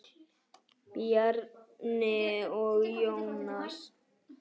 Bjarni og Jónas.